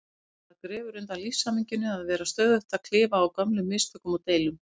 Það grefur undan lífshamingjunni að vera stöðugt að klifa á gömlum mistökum og deilum.